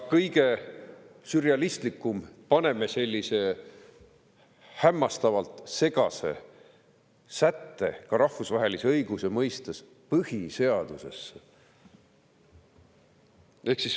Kõige sürrealistlikum on see, kui me paneme sellise hämmastavalt segase sätte, seda ka rahvusvahelise õiguse mõistes, põhiseadusesse.